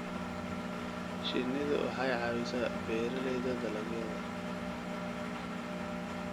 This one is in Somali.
Shinnidu waxay caawisaa beeralayda dalagyada.